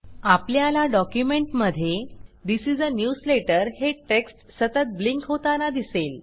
आपल्याला डॉक्युमेंटमध्ये this is a newsletter हे टेक्स्ट सतत ब्लिंक होताना दिसेल